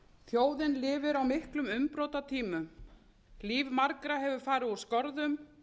þjóðin lifir á miklum umbrotatímum líf margra hefur farið úr skorðum